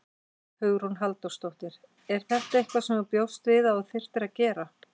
Hugrún Halldórsdóttir: Er þetta eitthvað sem þú bjóst við að þú þyrftir að gera?